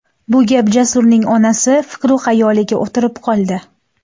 Bu gap Jasurning onasi fikru-xayoliga o‘tirib qoldi.